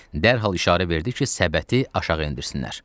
Dərhal işarə verdi ki, səbəti aşağı endirsinlər.